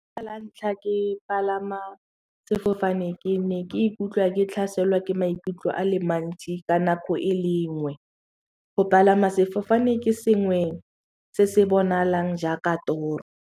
La ntlha ke palama sefofane ke ne ke ikutlwa ke tlhaselwa ke maikutlo a le mantsi ka nako e lengwe go palama sefofane ke sengwe se se bonalang jaaka toro.